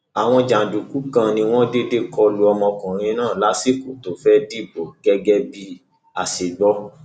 àwọn jàǹdùkú kan ni wọn déédé kọlu ọmọkùnrin náà lásìkò tó fẹẹ dìbò gẹgẹ bí a ṣe gbọ